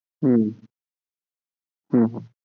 হম হম হম